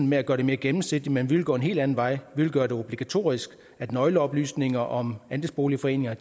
med at gøre det mere gennemsigtigt men vi vil gå en helt anden vej vi vil gøre det obligatorisk at nøgleoplysninger om andelsboligforeninger